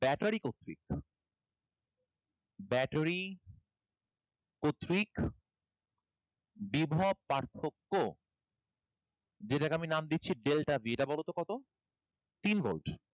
battery কতৃর্ক battery কতৃর্ক বিভব পার্থক্য যেটাকে আমি নাম দিচ্ছি delta b এটা বলতো কত তিন ভোল্ট